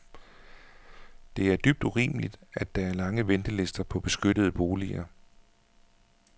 Det er dybt urimeligt, at der er lange ventelister på beskyttede boliger.